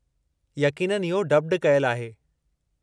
यक़ीननि, इहो डब्ड कयलु आहे।